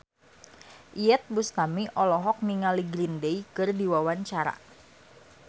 Iyeth Bustami olohok ningali Green Day keur diwawancara